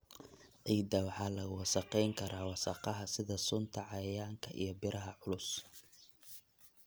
Ciidda waxa lagu wasakhayn karaa wasakhaha sida sunta cayayaanka iyo biraha culus.